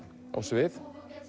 á svið